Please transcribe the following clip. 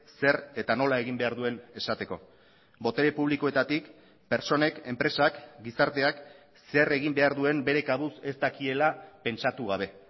zer eta nola egin behar duen esateko botere publikoetatik pertsonek enpresak gizarteak zer egin behar duen bere kabuz ez dakiela pentsatu gabe